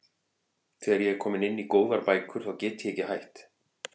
Þegar ég er komin inn í góðar bækur þá get ég ekki hætt.